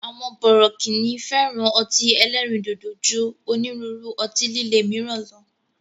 Àwọn bọ̀rọ̀kíni fẹ́ràn ọtí ẹlẹ́ríndòdò ju onírúurú ọtí lilé míràn lọ